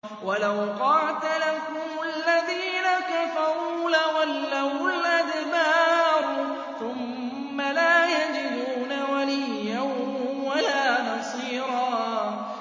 وَلَوْ قَاتَلَكُمُ الَّذِينَ كَفَرُوا لَوَلَّوُا الْأَدْبَارَ ثُمَّ لَا يَجِدُونَ وَلِيًّا وَلَا نَصِيرًا